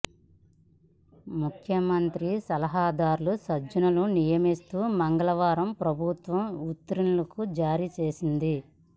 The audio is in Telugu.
ముఖ్యమంత్రి సలహాదారుగా సజ్జలను నియమిస్తూ మంగళవారం ప్రభుత్వం ఉత్తర్వులు జారీ చేసింది